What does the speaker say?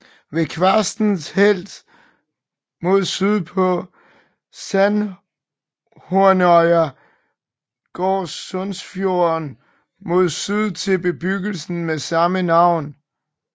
Ved Kvarsnes helt mod syd på Sandhornøya går Sundsfjorden mod syd til bebyggelsen med samme navn